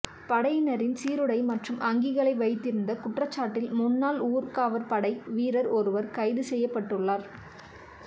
படையினரின் சீருடை மற்றும் அங்கிகளை வைத்திருந்த குற்றச்சாட்டில் முன்னாள் ஊர்காவற்படை வீரர் ஒருவர் கைது செய்யப்பட்டுள்ளார்